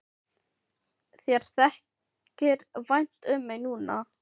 Þér þykir vænt um mig núna.